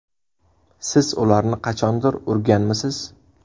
Siz ularni qachondir urganmisiz?